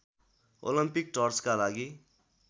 Olympic टर्चका लागि